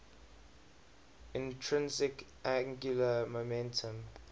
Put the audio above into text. intrinsic angular momentum